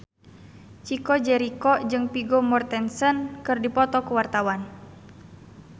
Chico Jericho jeung Vigo Mortensen keur dipoto ku wartawan